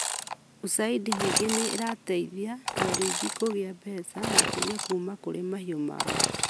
USAID ningĩ nĩ ĩrateithia arĩithi kũgĩa mbeca makĩria kũma kũrĩ mahiũ mao,